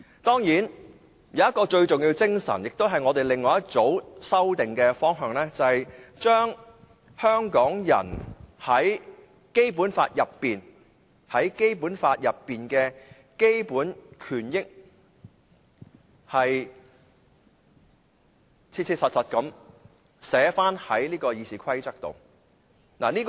當然，有一種最重要的精神，亦都是我們另外一組修正案的方向，就是將香港人在《基本法》內的基本權益切實地寫在《議事規則》內。